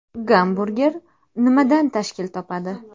Gamburger nimadan tashkil topadi?